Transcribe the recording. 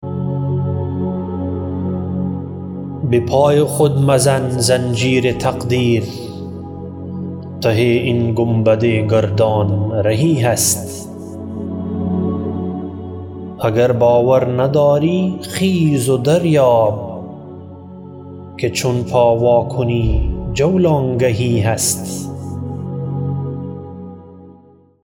بپای خود مزن زنجیر تقدیر ته این گنبد گردان رهی هست اگر باور نداری خیز و دریاب که چون پا وا کنی جولانگهی هست